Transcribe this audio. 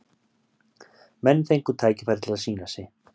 Menn fengu tækifæri til að sýna sig.